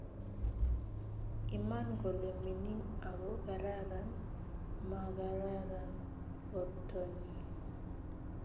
Iman kole mining ago kararan, magararan bortonyi